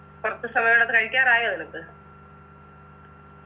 കുറച്ച് സമയണ്ട് കഴിക്കാറായോ നിനക്ക്